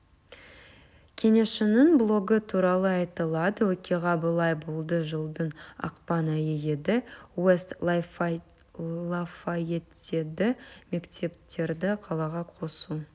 кеңесшінің блогы туралы айтылады оқиға былай болды жылдың ақпан айы еді уэст лафайеттедегі мектептерді қалаға қосу